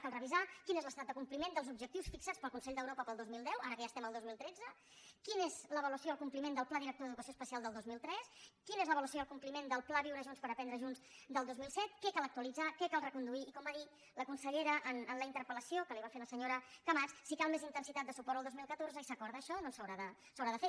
cal revisar quin és l’estat de compliment dels objectius fixats pel consell d’europa per al dos mil deu ara que ja estem al dos mil tretze quins són l’avaluació i el compliment del pla director d’educació especial del dos mil tres quins són l’avaluació i el compliment del pla viure junts per aprendre junts del dos mil set què cal actualitzar què cal reconduir i com va dir la consellera en la interpel·lació que li va fer la senyora camats si cal més intensitat de suport el dos mil catorze i s’acorda això doncs s’haurà de fer